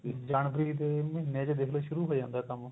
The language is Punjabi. ਜਨਵਰੀ ਦੇ ਮਹੀਨੇ ਚ ਦੇਖਲੋ ਸ਼ੁਰੂ ਹੋ ਜਾਂਦਾ ਕੰਮ